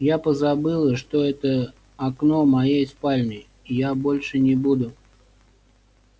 я позабыла что это окно моей спальни я больше не буду